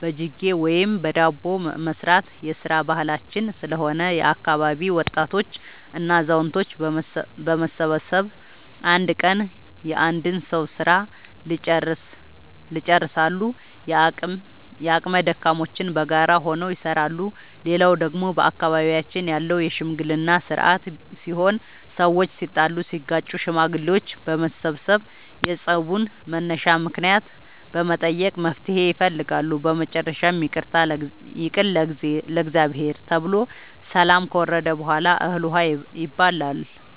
በጅጌ ወይም በዳቦ መስራት የስራ ባህላችን ስለሆነ የአካባቢ ወጣቶች እና አዛውቶች በመሰብሰብ አንድ ቀን የአንድ ሰዉ ስራ ልጨርሳሉ። የአቅመ ደካሞችንም በጋራ ሆነው ይሰራሉ። ሌላው ደግሞ በአካባቢያችን ያለው የሽምግልና ስርአት ሲሆን ሰዎች ሲጣሉ ሲጋጩ ሽማግሌዎች በመሰብሰብ የፀቡን መነሻ ምክንያት በመጠየቅ መፍትሔ ይፈልጋሉ። በመጨረሻም ይቅር ለእግዚአብሔር ተብሎ ሰላም ከወረደ በሗላ እህል ውሃ